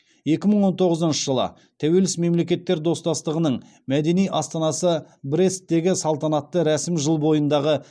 екі мың он тоғызыншы жылы тәуелсіз мемлекеттер достастығының мәдени астанасы бресттегі салтанатты рәсім жыл бойындағы